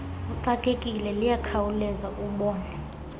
uxakekile liyakhawuleza ubone